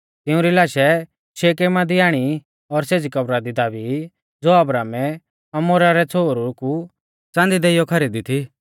तिउंरी लाशै शेकेमा दी आणी और सेज़ी कब्रा दी दाबी ज़ो अब्राहमै हमोरा रै छ़ोहरु कु च़ांदी देइऔ खरीदी थी